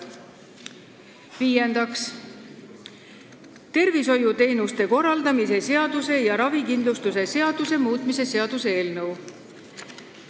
Viiendaks, tervishoiuteenuste korraldamise seaduse ja ravikindlustuse seaduse muutmise seaduse eelnõu.